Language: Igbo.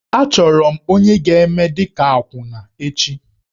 Achọrọ m onye ga-eme dị ka akwụna echi.